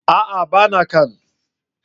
A'a! ba na can.